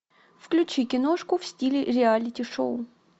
включи киношку в стиле реалити шоу